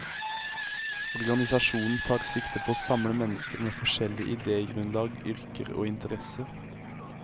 Organisasjonen tar sikte på å samle mennesker med forskjellig idégrunlag, yrker og interesser.